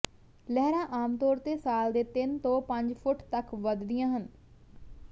ਲਹਿਰਾਂ ਆਮ ਤੌਰ ਤੇ ਸਾਲ ਦੇ ਤਿੰਨ ਤੋਂ ਪੰਜ ਫੁੱਟ ਤੱਕ ਵਧਦੀਆਂ ਹਨ